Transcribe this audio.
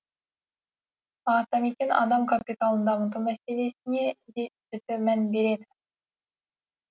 атамекен адам капиталын дамыту мәселесіне де жіті мән береді